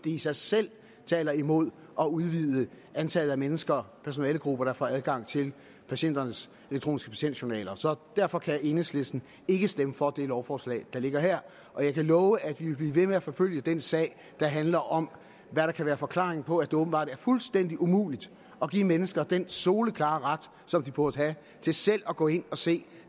i sig selv taler imod at udvide antallet af mennesker personalegrupper der får adgang til patienternes elektroniske patientjournaler så derfor kan enhedslisten ikke stemme for det lovforslag der ligger her og jeg kan love at vi vil blive ved med at forfølge den sag der handler om hvad der kan være forklaringen på at det åbenbart er fuldstændig umuligt at give mennesker den soleklare ret som de burde have til selv at gå ind og se